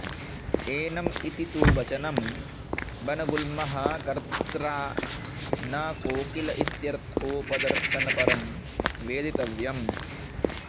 annum इति तु वचनं वनगुल्मः कत्र्ता न कोकिल इत्यर्थोपदर्शनपरं वेदितव्यम्